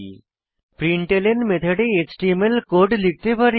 println মেথডে HTML code লিখতে পারি